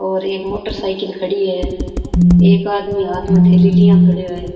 और एक motorcycle खड़ी है एक आदमी हाथ मे थेली लिया खड़ो है।